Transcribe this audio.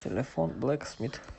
телефон блэксмит